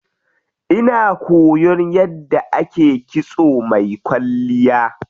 Ina koyan yadda ake kitso mai kwalliya.